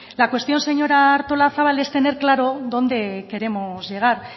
la cuestión señora artolazabal es tener claro dónde queremos llegar